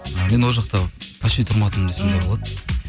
ы мен ол жақта вообще тұрмадым десем де болады